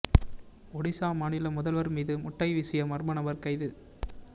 ஒடிசா மாநில முதல்வர் மீது முட்டை வீசிய மர்ம நபர் கைது